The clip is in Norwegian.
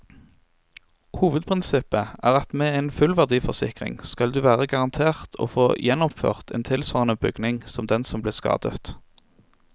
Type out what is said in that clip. Hovedprinsippet er at med en fullverdiforsikring skal du være garantert å få gjenoppført en tilsvarende bygning som den som ble skadet.